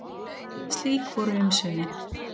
Slík voru umsvifin.